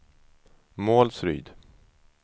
Målsryd